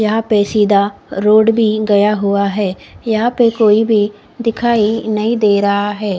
यहां पे सीधा रोड भी गया हुआ है यहां पे कोई भी दिखाई नहीं दे रहा है।